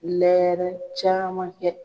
Lɛɛrɛ caman kɛ.